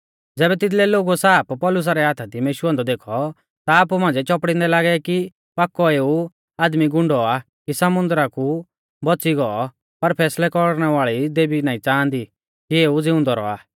ज़ैबै तिदलै लोगुऐ साप पौलुसा रै हाथा दी मेशुऔ औन्दौ देखौ ता आपु मांझ़िऐ चौपड़िंदै लागै कि पाकौ एऊ आदमी गुंडौ आ कि समुन्दरा कु बौच़ी गौ पर फैसलै कौरणै वाल़ी देवी नाईं च़ांहादी कि एऊ ज़िउंदौ रौआ